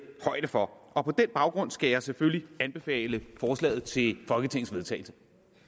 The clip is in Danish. højde for og på den baggrund skal jeg selvfølgelig anbefale forslaget til folketingets vedtagelse